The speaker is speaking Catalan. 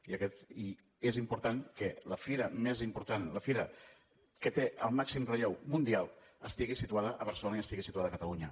i és important que la fira més important la fira que té el màxim relleu mundial estigui situada a barcelona i estigui situada a catalunya